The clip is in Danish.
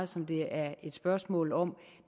som det er et spørgsmål om